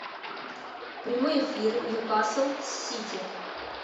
прямой эфир ньюкасл с сити